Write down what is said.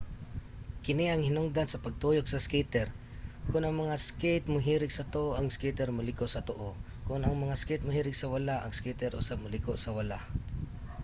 kini ang hinungdan sa pagtuyok sa skater. kon ang mga skate mohirig sa tuo ang skater moliko sa tuo kon ang mga skate mohirig sa wala ang skater usab moliko sa wala